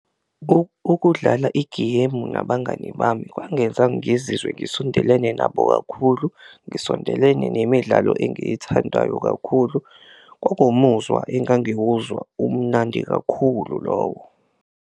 Ukudlala igeyimu nabangani bami kwangenza ngizizwe ngisondelene nabo kakhulu, ngisondelene nemidlalo engiyithandayo kakhulu, kwakuwumuzwa engangiwuzwa umunandi kakhulu lowo.